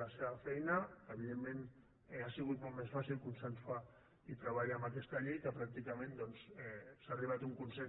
la seva feina evidentment ha sigut molt més fàcil consensuar i treballar en aquesta llei en què pràcticament doncs s’ha arribat a un consens